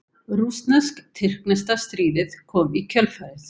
Rússnesk-tyrkneska stríðið kom í kjölfarið.